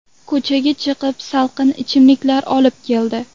Ko‘chaga chiqib salqin ichimliklar olib keldi.